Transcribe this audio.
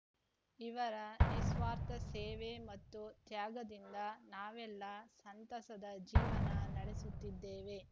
ಇವರ ನಿಸ್ವಾರ್ಥ ಸೇವೆ ಮತ್ತು ತ್ಯಾಗದಿಂದ ನಾವೆಲ್ಲ ಸಂತಸದ ಜೀವನ ನಡೆಸುತ್ತಿದ್ದೇವೆ